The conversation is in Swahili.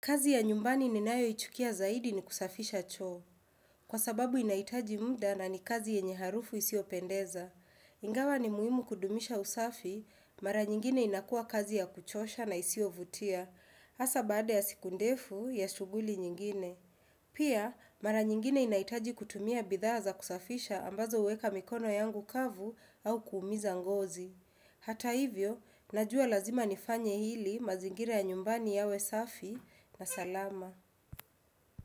Kazi ya nyumbani ninayoichukia zaidi ni kusafisha choo Kwa sababu inahitaji muda na ni kazi yenye harufu isiyopendeza. Ingawa ni muhimu kudumisha usafi, mara nyingine inakuwa kazi ya kuchosha na isiyo vutia. Hasa baada ya siku ndefu ya shuguli nyingine. Pia, mara nyingine inahitaji kutumia bidhaa za kusafisha ambazo huweka mikono yangu kavu au kuumiza ngozi. Hata hivyo, najua lazima nifanye ili mazingira nyumbani yawe safi na salama.